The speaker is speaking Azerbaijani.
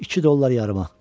İki dollar yarıma.